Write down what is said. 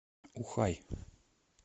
ухай